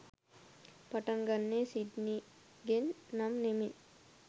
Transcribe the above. පටන් ගන්නෙ සිඩ්නිගෙන් නම් නෙමෙයි.